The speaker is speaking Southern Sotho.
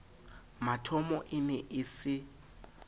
mathomo e ne e se